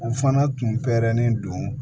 U fana tun pɛrɛnnen don